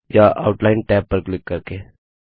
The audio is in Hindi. या आउटलाइन टैब पर क्लिक करके